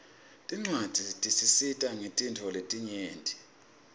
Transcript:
tincuadzi tisisita ngetintfo letinyenti